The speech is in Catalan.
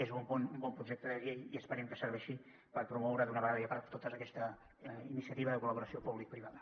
és un bon projecte de llei i esperem que serveixi per promoure d’una vegada per totes aquesta iniciativa de col·laboració publicoprivada